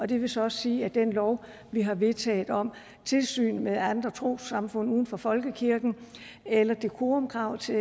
det vil så også sige at den lov vi har vedtaget om tilsyn med andre trossamfund uden for folkekirken eller decorumkrav til